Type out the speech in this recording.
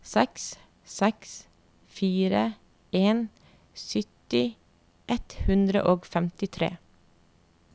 seks seks fire en sytti ett hundre og femtitre